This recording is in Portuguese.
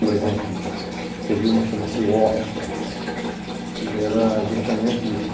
Por exemplo, escrevi uma que chama-se O Ócio, que era justamente isso.